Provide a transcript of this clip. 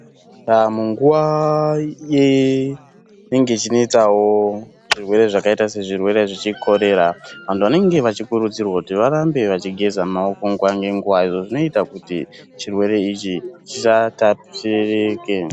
Panguwa inenge ichinetsawo zvirwere zvakaita sezvirwere chekorera vantu vanenge vachikurudzirwa kuti varambe vachigeza maoko nguwa ngenguwa izvo zvinoita kuti chirwere ichi chisatapurike.